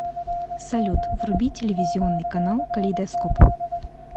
салют вруби телевизионный канал калейдоскоп